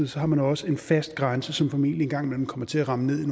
så har man også en fast grænse som formentlig engang imellem kommer til at ramme ned